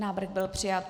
Návrh byl přijat.